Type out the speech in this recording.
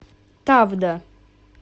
тавда